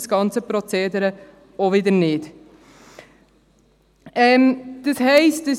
Das ganze Prozedere ist dementsprechend nicht dermassen niederschwellig.